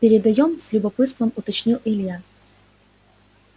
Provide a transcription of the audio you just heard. передаём с любопытством уточнил илья